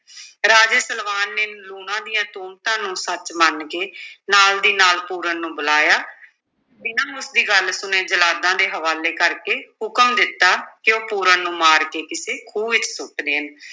ਰਾਜੇ ਸਲਵਾਨ ਨੇ ਲੂਣਾ ਦੀਆਂ ਤੁਹਮਤਾਂ ਨੂੰ ਸੱਚ ਮੰਨ ਕੇ ਨਾਲ ਦੀ ਨਾਲ ਪੂਰਨ ਨੂੰ ਬੁਲਾਇਆ ਬਿਨਾਂ ਉਸ ਦੀ ਗੱਲ ਸੁਣੇ ਜਲਾਦਾਂ ਦੇ ਹਵਾਲੇ ਕਰਕੇ ਹੁਕਮ ਦਿੱਤਾ ਕਿ ਉਹ ਪੂਰਨ ਨੂੰ ਮਾਰ ਕੇ ਕਿਸੇ ਖੂਹ ਵਿੱਚ ਸੁੱਟ ਦੇਣ।